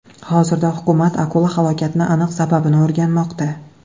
Hozirda hukumat akula halokatining aniq sababini o‘rganmoqda.